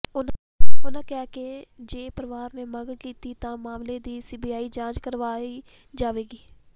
ਉਨ੍ਹਾਂ ਕਿਹਾ ਕਿ ਜੇ ਪਰਿਵਾਰ ਨੇ ਮੰਗ ਕੀਤੀ ਤਾਂ ਮਾਮਲੇ ਦੀ ਸੀਬੀਆਈ ਜਾਂਚ ਕਰਵਾਈ ਜਾਵੇਗੀ